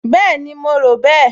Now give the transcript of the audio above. Bẹ́ẹ̀ni, mo rò bẹ́ẹ̀